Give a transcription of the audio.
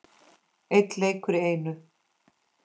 Einn leikur í einu.